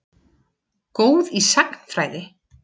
Góð í sagnfræði.